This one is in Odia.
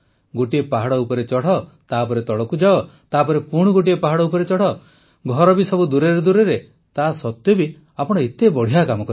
ଗୋଟିଏ ପାହାଡ଼ ଉପରେ ଚଢ଼ ତାପରେ ତଳକୁ ଯାଅ ତାପରେ ପୁଣି ଗୋଟିଏ ପାହାଡ ଉପରେ ଚଢ଼ ଘର ବି ସବୁ ଦୂରରେ ଦୂରରେ ତାସତ୍ୱେ ବି ଆପଣ ଏତେ ବଢ଼ିଆ କାମ କରିଛନ୍ତି